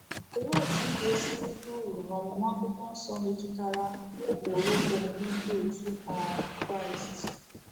Olee otú i ga-esi erite uru n’ọmụmụ akwụkwọ nsọ metụtara ụkpụrụ omume Ndị otu um Kraịst?